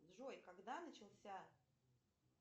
джой когда начался